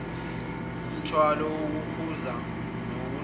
inomthwalo wokukhuza nokulawula